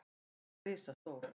Hann er risastór.